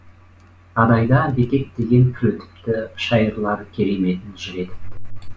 адайда бекет деген пір өтіпті шайырлар кереметін жыр етіпті